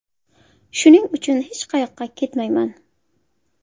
Shuning uchun hech qayoqqa ketmayman.